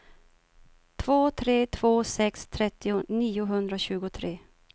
två tre två sex trettio niohundratjugotre